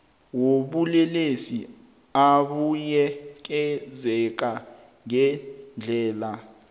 wobulelesi abuyekezeka ngendlela